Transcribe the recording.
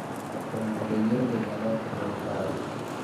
Konyo mondo yiero obed maler kendo ma kare.